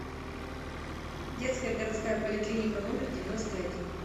детская городская поликлиника номер девяносто один